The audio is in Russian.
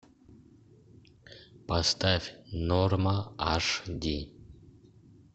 поставь норма аш ди